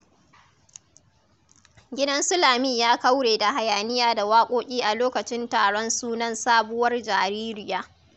Gidan su Lami ya kaure da hayaniya da waƙoƙi a lokacin taron sunan sabuwar jaririya.